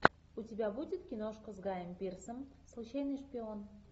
у тебя будет киношка с гаем пирсом случайный шпион